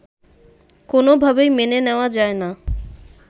কোনভাবেই মেনে নেয়া যায়না